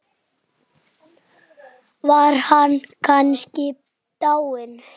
Var hann kannski dáinn?